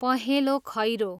पहेँलो खैरो